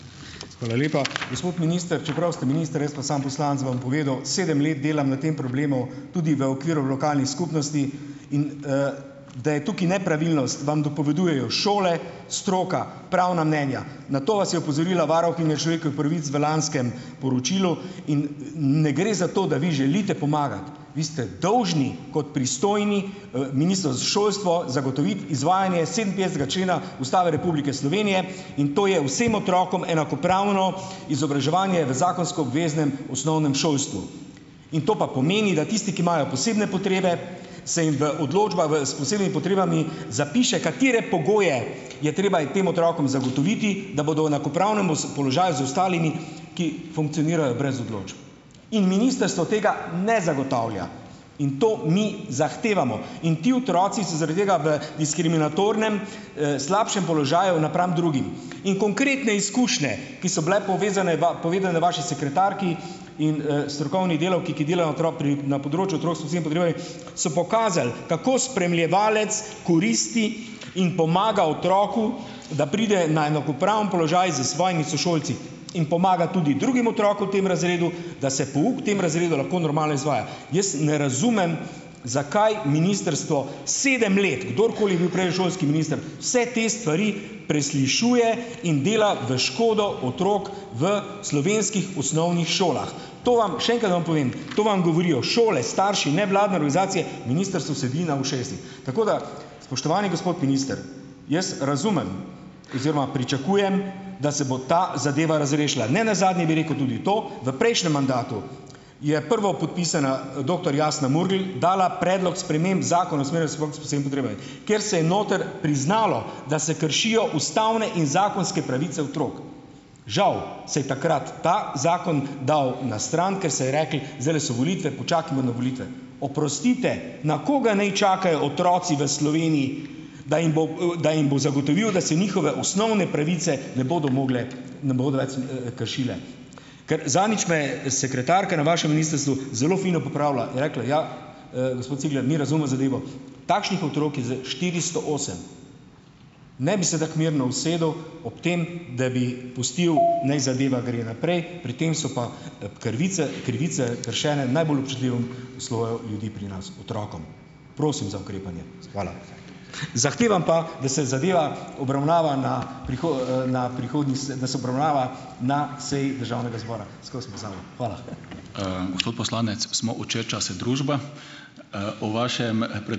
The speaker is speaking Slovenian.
Hvala lepa! Gospod minister, čeprav ste minister, jaz pa samo poslanec, vam povedal, sedem let delam na tem problemu, tudi v okviru lokalnih skupnosti in, da je tukaj nepravilnost, vam dopovedujejo šole, stroka, pravna mnenja, na to vas je opozorila varuhinja človekovih pravic v lanskem poročilu, in ne gre za to, da vi želite pomagati, vi ste dolžni, kot pristojni, Ministrstvo za šolstvo, zagotoviti izvajanje sedeminpetdesetega člena Ustave Republike Slovenije in to je vsem otrokom enakopravno izobraževanje v zakonsko obveznem osnovnem šolstvu in to pa pomeni, da tisti, ki imajo posebne potrebe, se jim v odločba v s posebnimi potrebami zapiše, katere pogoje je treba tem otrokom zagotoviti, da bodo v enakopravnem položaju z ostalimi, ki funkcionirajo brez odločb. In ministrstvo tega ne zagotavlja in to mi zahtevamo in ti otroci so zaradi tega v diskriminatornem, slabšem položaju napram drugim. In konkretne izkušnje, ki so bile povezane povedane vaši sekretarki in, strokovni delavki, ki delajo otrok pri na področju otrok s posebnimi potrebami, so pokazale, kako spremljevalec koristi in pomaga otroku, da pride na enakopraven položaj s svojimi sošolci in pomaga tudi drugim otrokom, v tem razredu, da se pouk v tem razredu lahko normalno izvaja. Jaz ne razumem, zakaj ministrstvo sedem let - kdorkoli je bil prej šolski minister - vse te stvari preslišuje in dela v škodo otrok v slovenskih osnovnih šolah. To vam - še enkrat vam povem to vam govorijo šole, starši, nevladne organizacije, ministrstvo sedi na ušesih. Tako da, spoštovani gospod minister, jaz razumem oziroma pričakujem, da se bo ta zadeva razrešila. Ne nazadnje bi rekel tudi to - v prejšnjem mandatu je prvopodpisana, doktor Jasna Murgel, dala predlog sprememb Zakona o usmerjanju otrok s posebnimi potrebami, kjer se je noter priznalo, da se kršijo ustavne in zakonske pravice otrok. Žal se je takrat ta zakon dal na stran, ker se je reklo: "Zdajle so volitve, počakajmo na volitve." Oprostite, na koga naj čakajo otroci v Sloveniji, da jim, da jim bo zagotovil, da se njihove osnovne pravice ne bodo mogle, ne bodo več, kršile? Ker zadnjič me je sekretarka na vašem ministrstvu zelo fino popravila. Je rekla: "Ja, gospod Cigler, mi razumemo zadevo, takšnih otrok je za štiristo osem." Ne bi se tako mirno usedel ob tem, da bi pustil, naj zadeva gre naprej, pri tem so pa, krvice krivice kršene najbolj občutljivemu sloju ljudi pri nas - otrokom. Prosim za ukrepanje, hvala. Zahtevam pa, da se zadeva obravnava na na prihodnji, da se obravnava na seji državnega zbora. Skozi pozabim. Hvala.